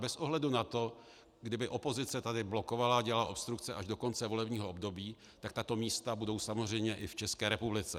Bez ohledu na to, kdyby opozice tady blokovala a dělala obstrukce až do konce volebního období, tak tato místa budou samozřejmě i v České republice.